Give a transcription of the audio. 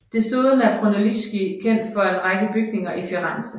Desuden er Brunelleschi kendt for en række bygninger i Firenze